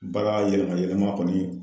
Baga yɛlɛma yɛlɛma kɔni